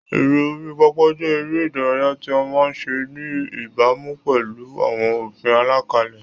Eré orí pápá jẹ́ eré ìdárayá tí a máa ń ṣe ní ìbámu pẹ̀lú àwọn òfin àlàkalẹ̀.